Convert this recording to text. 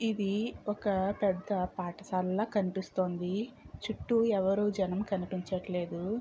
ఇది ఒక పెద్ద పాఠశాలలా కనిపిస్తోందీ. చుట్టూ ఎవరూ జనం కనిపించట్లేదు.